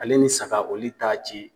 Ale ni saga oli t'a ci.